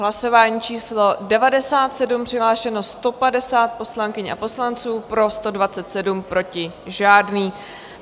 Hlasování číslo 97, přihlášeno 150 poslankyň a poslanců, pro 127, proti žádný.